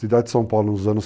Cidade de São Paulo nos